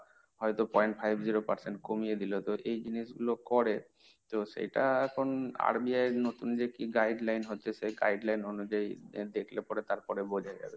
হয়তো point five zero percent কমিয়ে দিল। তো এই জিনিসগুলো করে, তো সেটা এখন RBIএর নতুন যে কি guideline হচ্ছে সেই guideline অনুযায়ী দেখলে পরে তারপরে বোঝা যাবে।